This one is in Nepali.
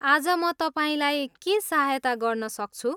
आज म तपाईँलाई के सहायता गर्न सक्छु?